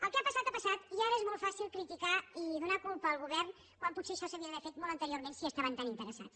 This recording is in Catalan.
el que ha passat ha passat i ara és molt fàcil criticar i donar ne culpa al govern quan potser això s’hauria d’haver fet molt anteriorment si hi estaven tan interessats